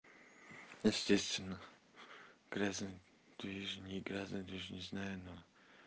естественно грязный ту ю ж ни газа ну не знаю на